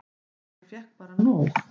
Ég fékk bara nóg.